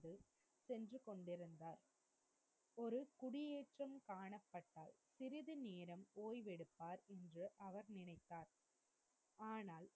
ஒரு குடியேட்றம் காணப்பட்டால் சிறிது நேரம் ஒய்வு எடுப்பார் என்று அவர் நினைத்தார். ஆனால்,